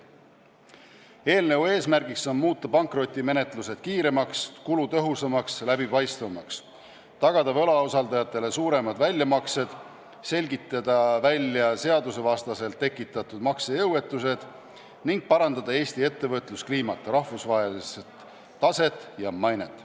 Eelnõu eesmärk on muuta pankrotimenetlused kiiremaks, kulutõhusamaks ja läbipaistvamaks, tagada võlausaldajatele suuremad väljamaksed, selgitada välja seadusevastaselt tekitatud maksejõuetused ning parandada Eesti ettevõtluskliimat, rahvusvahelist taset ja mainet.